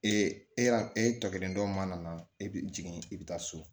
Ee e y'a e tɔ kelen dɔ mana na e bi jigin i bi taa so